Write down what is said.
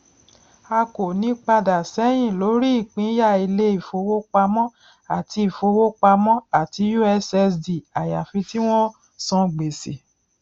a kò ní padà ṣẹyìn lórí ìpínyà ilé ìfowópamọ àti ìfowópamọ àti ussd àyàfi tí wọn san gbèsè